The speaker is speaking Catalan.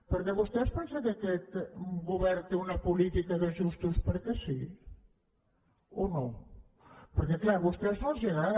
perquè vostè es pensa que aquest govern té una política d’ajustos perquè sí o no perquè clar a vostès no els agrada